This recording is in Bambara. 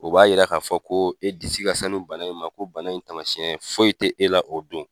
O b'a yira k'a fɔ ko e disi ka sanu bana in ma, ko bana in tamasiyɛn foyi te, e la o don.